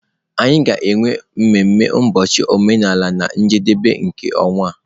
Anyị ga-enwe mmemme ụbọchị omenala na njedebe nke ọnwa a.